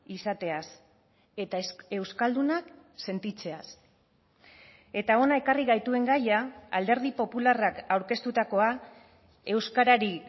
izateaz eta euskaldunak sentitzeaz eta hona ekarri gaituen gaia alderdi popularrak aurkeztutakoa euskarari